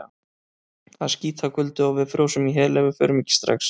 Það er skítakuldi og við frjósum í hel ef við förum ekki strax.